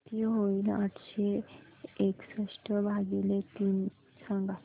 किती होईल आठशे एकसष्ट भागीले तीन सांगा